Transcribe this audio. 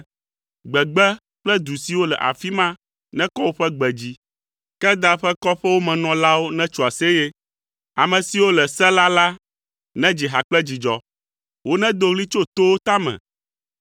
Gbegbe kple du siwo le afi ma nekɔ woƒe gbe dzi. Kedar ƒe kɔƒewo me nɔlawo netso aseye. Ame siwo le Sela la nedzi ha kple dzidzɔ. Wonedo ɣli tso towo tame.